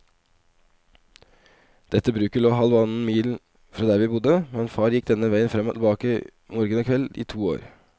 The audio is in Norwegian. Dette bruket lå halvannen mil fra der vi bodde, men far gikk denne veien fram og tilbake morgen og kveld i to år.